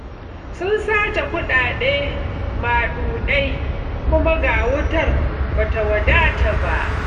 Sun sace kuɗaɗe maɗuɗai, kuma ga wutar ba ta wadata ba.